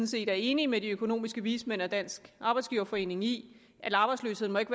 set er enig med de økonomiske vismænd og dansk arbejdsgiverforening i at arbejdsløsheden ikke